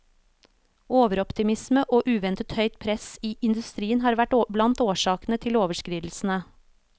Overoptimisme og uventet høyt press i industrien har vært blant årsakene til overskridelsene.